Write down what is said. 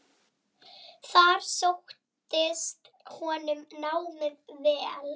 Þar sóttist honum námið vel.